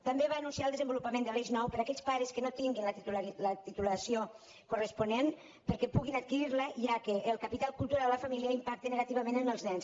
també va anunciar el desenvolupament de l’eix nou per a aquells pares que no tinguin la titulació corresponent perquè puguin adquirir la ja que el capital cultural de la família impacta positivament en els nens